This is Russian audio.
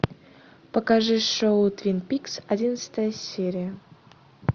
покажи шоу твин пикс одиннадцатая серия